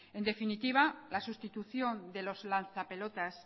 en definitiva la sustitución de los lanza pelotas